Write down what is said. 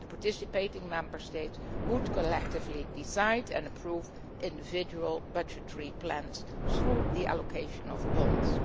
The participating Member States would collectively decide and approve individual budgetary plans through the allocation of bonds.